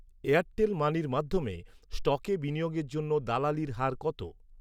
Airtel মানির মাধ্যমে স্টকে বিনিয়োগের জন্য দালালির হার কত?